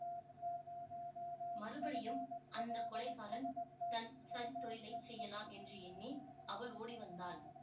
மறுபடியும் அந்த கொலைகாரன் தன் சதித்தொழிலைச் செய்யலாம் என்று எண்ணி அவள் ஓடிவந்தாள்